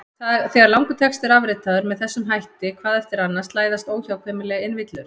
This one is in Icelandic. Þegar langur texti er afritaður með þessum hætti hvað eftir annað slæðast óhjákvæmilega inn villur.